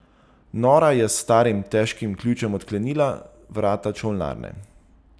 Nora je s starim, težkim ključem odklenila vrata čolnarne.